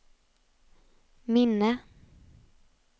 minne